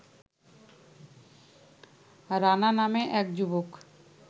রানা নামে এক যুবক